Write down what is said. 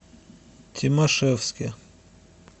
тимашевске